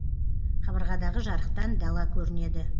қабырғадағы жарықтан дала көрінеді